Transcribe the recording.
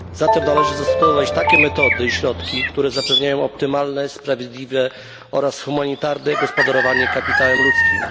Zatem należy zastosować takie metody i środki, które zapewniają optymalne, sprawiedliwe oraz humanitarne gospodarowanie kapitałem ludzkim.